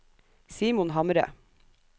Simon Hamre